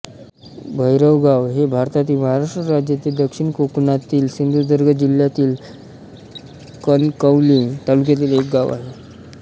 भैरवगाव हे भारतातील महाराष्ट्र राज्यातील दक्षिण कोकणातील सिंधुदुर्ग जिल्ह्यातील कणकवली तालुक्यातील एक गाव आहे